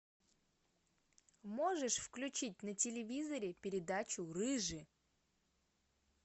можешь включить на телевизоре передачу рыжий